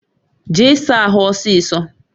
Jee saa ahụ ọsịsọ!